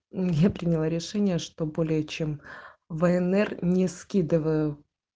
я приняла решение что более чем внр не скидываю